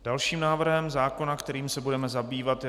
Dalším návrhem zákona, kterým se budeme zabývat, je